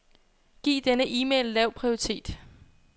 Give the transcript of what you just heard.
Giv denne e-mail lav prioritet.